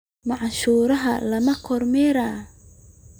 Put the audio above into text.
Mashruuca lama kormeerin.